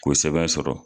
K'o sɛbɛn sɔrɔ